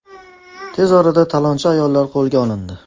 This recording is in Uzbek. Tez orada talonchi ayollar qo‘lga olindi.